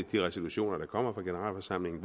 de reservationer der kommer fra generalforsamlingen